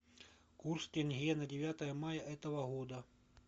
курс тенге на девятое мая этого года